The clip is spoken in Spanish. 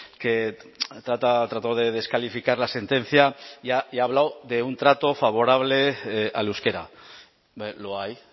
que ha tratado de descalificar la sentencia y ha hablado de un trato favorable al euskera lo hay